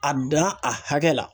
A dan a hakɛ la.